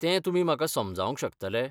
तें तुमी म्हाका समजावंक शकतले?